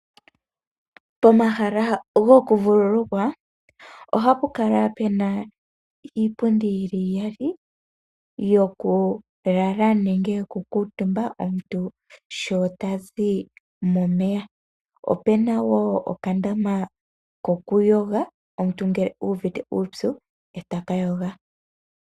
Pomahala goku vululukwa, ohapu kala pena iipundi yi li iyali yoku lala nenge yoku kuutumba, omuntu sho tazi momeya. Opena wo oka ndama koku yoga, omuntu ngele uuvite uupyu eta ka yoga.